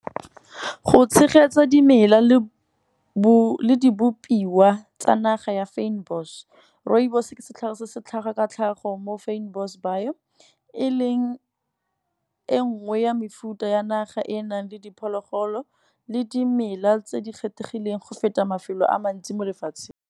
Go tshegetsa dimela le dibopiwa tsa naga ya fynbos, rooibos ke setlhare se se tlhaga ka tlhago mo fynbos bio. E leng e nngwe ya mefuta ya naga e e nang le diphologolo, le dimela tse di kgethegileng go feta mafelo a mantsi mo lefatsheng.